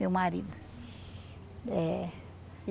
Meu marido eh.